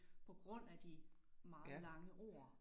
På grund af de meget lange ord